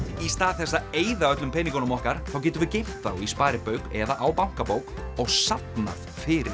í stað þess að eyða öllum peningunum okkar þá getum við geymt þá í sparibauk eða á bankabók og safnað fyrir